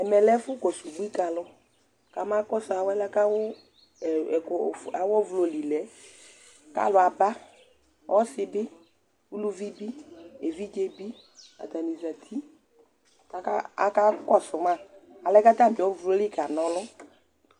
Ɛmɛ lɛ ɛfʋkɔsʋ ubui ka alʋ kamakɔsʋ alɛna kʋ awʋ ɛkʋ of awʋ ɔvlɔ li lɛ kʋ alʋ aba, ɔsɩ bɩ, uluvi bɩ, evidze bɩ Atanɩ zati kʋ akakɔsʋ ma, alɛna yɛ kʋ atamɩ ɔvlɔ yɛ li kana ɔlʋ